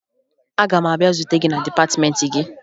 Aga m abịa zute gị na dịpatịmeentị gị